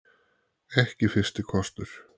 Ekki fyrsti kostur